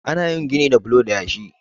ana yin gini da bulo da yashi